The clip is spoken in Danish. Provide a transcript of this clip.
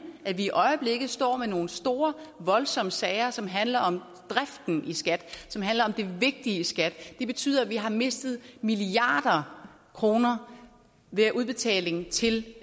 at vi i øjeblikket står med nogle store voldsomme sager som handler om driften i skat som handler om det vigtige i skat det betyder at vi har mistet milliarder af kroner ved udbetaling til